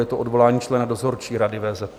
Je to Odvolání člena dozorčí rady VZP.